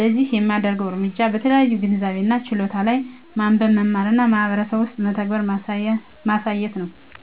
ለዚህ የማደርገው እርምጃ በተለያዩ ግንዛቤ እና ችሎታ ላይ ማንበብ፣ መማር እና በማህበረሰብ ውስጥ በተግባር ማሳየት ነው።